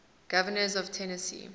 governors of tennessee